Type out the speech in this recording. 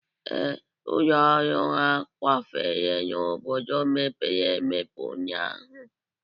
Ee, ụlọ ọrụ ha kwafere n'obodo mepere emepe ụnyaahụ